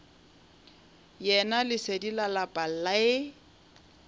yena lesedi la lapa le